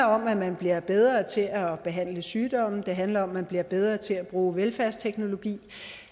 om at man bliver bedre til at behandle sygdomme det handler om at man bliver bedre til at bruge velfærdsteknologi